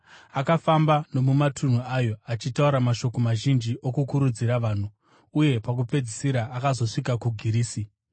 Akafamba nomumatunhu ayo, achitaura mashoko mazhinji okukurudzira vanhu, uye pakupedzisira akazosvika kuGirisi,